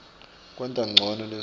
kwenta ncono lizinga